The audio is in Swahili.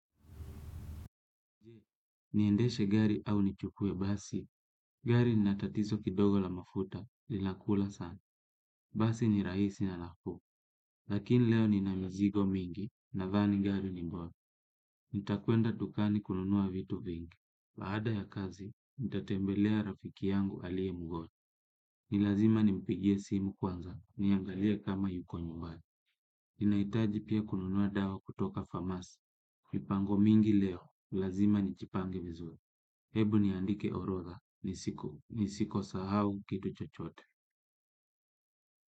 Je, niendeshe gari au nichukue basi, gari nina tatizo kidogo la mafuta, linakula sana, basi ni raisi na nafuu, lakini leo ni na mizigo mingi, nadhani gari ni bola, nitakwenda dukani kununua vitu vingi, baada ya kazi, nitatembelea rafiki yangu aliye mgonjwa, nilazima nimpigie simu kwanza, niangalie kama yuko nyumbani, inaitaji pia kununua dawa kutoka famasi, mipango mingi leo, ni lazima nichipange vizuri. Hebu niandike orodha. Nisiko sahau kitu chochote.